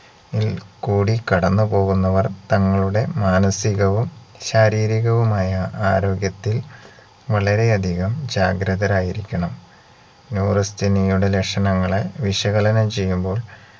ഇൽ കൂടി കടന്നുപോവുന്നവർ തങ്ങളുടെ മാനസികവും ശാരീരികവുമായ ആരോഗ്യത്തിൽ വളരെയധികം ജാഗ്രതരായിരിക്കണം neurasthenia യുടെ ലക്ഷണങ്ങളെ വിശകലനം ചെയ്യുമ്പോൾ